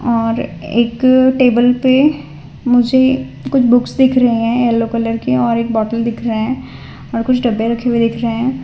और एक टेबल पे मुझे कुछ बुक्स दिख रहे हैं येलो कलर के और एक बॉटल दिख रहें हैं और कुछ डब्बे रखे हुए दिख रहे हैं।